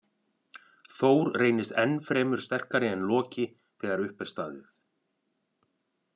Þór reynist enn fremur sterkari en Loki þegar upp er staðið.